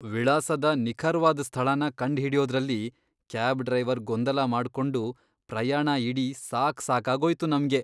ವಿಳಾಸದ ನಿಖರ್ವಾದ್ ಸ್ಥಳನ ಕಂಡ್ಹಿಡ್ಯೋದ್ರಲ್ಲಿ ಕ್ಯಾಬ್ ಡ್ರೈವರ್ ಗೊಂದಲ ಮಾಡ್ಕೊಂಡು ಪ್ರಯಾಣ ಇಡೀ ಸಾಕ್ಸಾಕಾಗೋಯ್ತು ನಮ್ಗೆ.